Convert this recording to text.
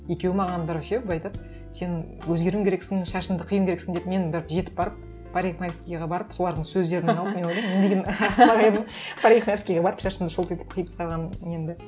екеуі маған бір ше былай айтады сен өзгеруің керексің шашыңды қиюың керексің деп мен бір жетіп барып парикмахерскаяға барып солардың сөздерін парикмахерскаяға барып шашымды шолтитып қиып тастағанмын немді